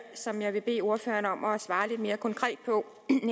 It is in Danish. som jeg godt vil bede ordføreren om at svare lidt mere konkret på